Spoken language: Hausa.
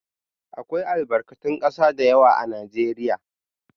Akwai albakatun ƙasa da yawa a Najeriya.